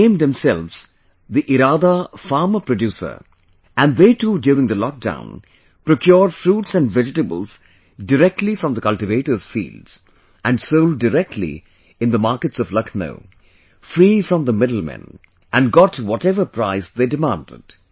They named themselves the Iraada; Farmer Producer and they too during the lockdown, procured fruits and vegetables directly from the cultivators' fields, and sold directly in the markets of Lucknow, free from the middlemen, and got whatever price they demanded